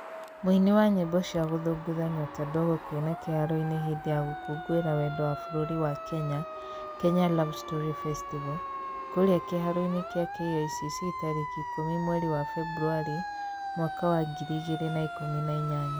Mũini wa nyĩmbo cia gũthũngũtha Nyota Ndogo kũina kĩharoinĩ hĩndĩ ya gũkũngũĩra wendo wa bũrũri wa Kenya (Kenya love story festival) kũrĩa kĩharoinĩ kĩa KICC tarĩki ĩkũmi mweri wa beburwarĩ mwaka wa 2018.